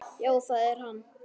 Já, það er hann.